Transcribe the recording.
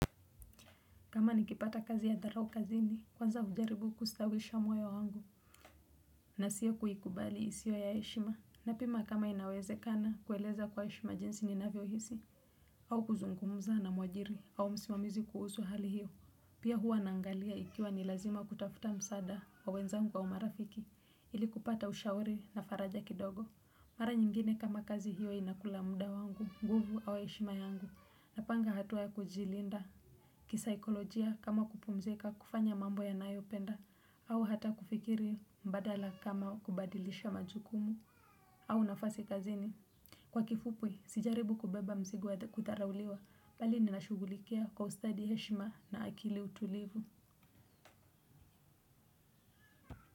Kama nikipata kazi ya dharau kazini, kwanza hujaribu kustawisha moyo wangu, na siyo kuikubali isiyo ya heshima, napima kama inawezekana kueleza kwa heshima jinsi ninavyohisi, au kuzungumza na mwajiri, au msimamizi kuhusu hali hiyo. Pia huwa naangalia ikiwa ni lazima kutafuta msaada wa wenzangu au marafiki, ili kupata ushauri na faraja kidogo. Mara nyingine kama kazi hiyo inakula muda wangu, nguvu au heshima yangu, napanga hatua ya kujilinda. Kisaikolojia kama kupumzika kufanya mambo yanayopenda au hata kufikiri mbadala kama kubadilisha majukumu au nafasi kazini. Kwa kifupi, sijaribu kubeba mzigo ya kudharauliwa bali nina shughulikia kwa ustadi heshima na akili utulivu.